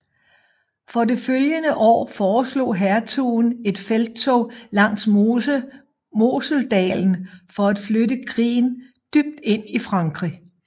For det følgende år foreslog hertugen et felttog langs Moseldalen for at flytte krigen dybt ind i Frankrig